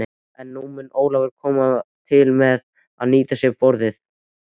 En mun Ólafur koma til með að nýta sér borðið?